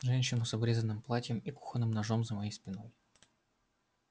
женщину с обрезанным платьем и кухонным ножом за моей спиной